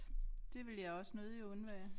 Det ville jeg også nødigt undvære